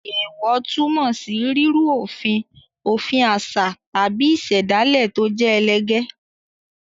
Èèwọ̀ túmọ̀ sí rírú òfin òfin àṣà tàbí ìṣẹ̀dálẹ̀ tó jẹ́ ẹlẹgẹ́.